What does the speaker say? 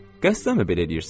Qəsdənmi belə eləyirsən?